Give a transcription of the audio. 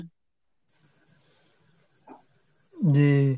জি।